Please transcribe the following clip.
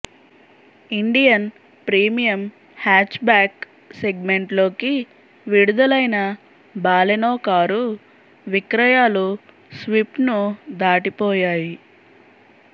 Indian premium hatchback సెగ్మెంట్లోకి విడుదలైన Baleno car విక్రయాలు స్విఫ్ట్ను దాటిపోయాయి